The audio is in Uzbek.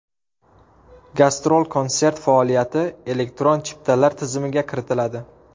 Gastrol-konsert faoliyati elektron chiptalar tizimiga kiritiladi.